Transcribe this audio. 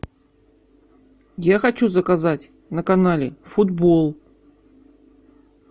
я хочу заказать на канале футбол